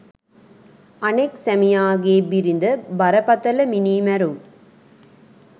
අනෙක් සැමියාගේ බිරිඳ බරපතල මිනීමැරුම්